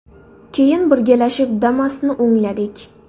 Keyin birgalashib Damas’ni o‘ngladik.